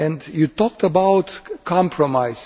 You talked about compromise.